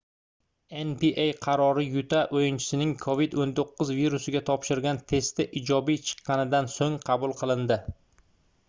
nba qarori yuta oʻyinchisining covid-19 virusiga topshirgan testi ijobiy chiqqanidan soʻng qabul qilindi